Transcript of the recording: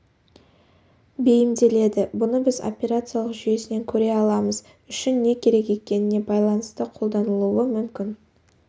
бейімделеді бұны біз операциялық жүйесінен көре аламыз үшін не керек екеніне байланысты қолданылуы мүмкін